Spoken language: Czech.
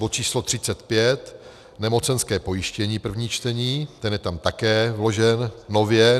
bod číslo 35, nemocenské pojištění, první čtení, ten je tam také vložen nově